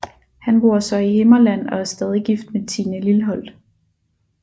Han bor så i Himmerland og er stadig gift med Tine Lilholt